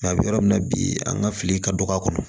a bɛ yɔrɔ min na bi an ka fili ka dɔgɔ a kɔnɔ